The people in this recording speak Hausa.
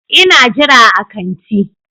Ina jira a kanti.